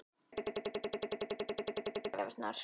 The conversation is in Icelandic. Hann ætlar að kaupa allar jólagjafirnar.